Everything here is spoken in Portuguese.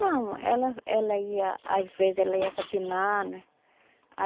Não, ela ela ia... Às vezes ela ia capinar, né?